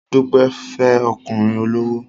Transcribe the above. Dúpẹ́ fẹ́ ọkùnrin olówó